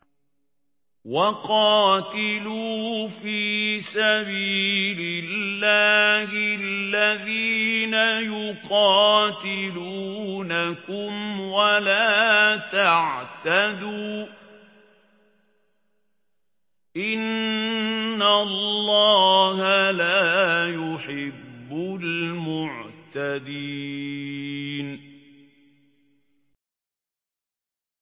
وَقَاتِلُوا فِي سَبِيلِ اللَّهِ الَّذِينَ يُقَاتِلُونَكُمْ وَلَا تَعْتَدُوا ۚ إِنَّ اللَّهَ لَا يُحِبُّ الْمُعْتَدِينَ